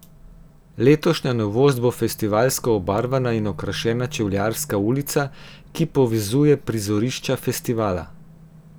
Letošnja novost bo festivalsko obarvana in okrašena Čevljarska ulica, ki povezuje prizorišča festivala.